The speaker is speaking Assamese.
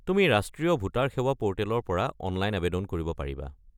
তুমি ৰাষ্ট্ৰীয় ভোটাৰ সেৱা পোৰ্টেলৰ পৰা অনলাইন আৱেদন কৰিব পাৰিবা।